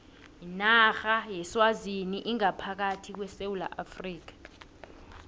inarha yeswazini ingaphakathi kwesewula afrika